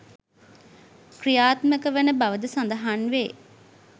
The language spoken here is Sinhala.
ක්‍රියාත්මක වන බවද සඳහන් වේ